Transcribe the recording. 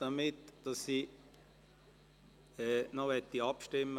Ich möchte noch heute Abend abstimmen.